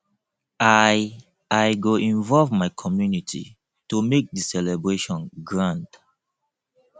i i go involve my community to make di celebration grand